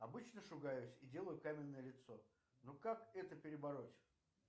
обычно шугаюсь и делаю каменное лицо но как это перебороть